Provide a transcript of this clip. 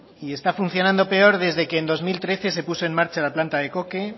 y está funcionando peor desde que en dos mil trece se puso en marcha la planta de coque